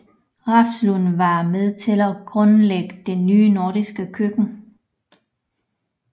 Refslund var med til at grundlægge det nye nordiske køkken